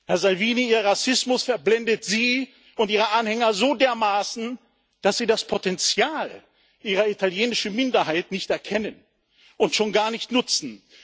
Herr Salvini, Ihr Rassismus verblendet Sie und Ihre Anhänger so dermaßen, dass Sie das Potenzial Ihrer italienischen Minderheit nicht erkennen und schon gar nicht nutzen!